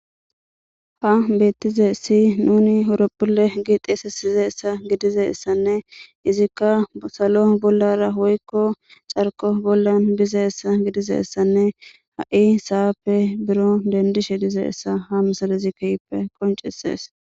ha beettize si nuni owroppule gixeesesize essa gidize essanne izikka salo bollara hoykko carko bollan bize essa gidize essanne ha7i saappe biro dendishe dize essa ha misalazi kehppe qoncesees